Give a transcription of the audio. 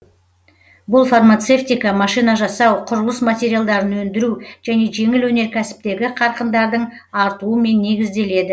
бұл фармацевтика машина жасау құрылыс материалдарын өндіру және жеңіл өнеркәсіптегі қарқындардың артуымен негізделеді